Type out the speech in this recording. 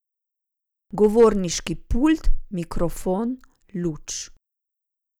Govorniški pult, mikrofon, luč.